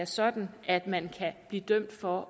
sådan at man kan blive dømt for